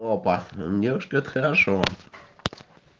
опа ээ девушка это хорошо